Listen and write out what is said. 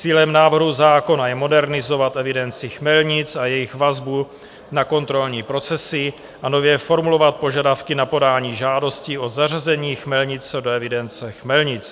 Cílem návrhu zákona je modernizovat evidenci chmelnic a jejich vazbu na kontrolní procesy a nově formulovat požadavky na podání žádosti o zařazení chmelnice do evidence chmelnic.